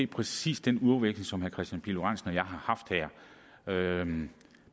præcis den ordveksling som herre kristian pihl lorentzen og jeg har haft her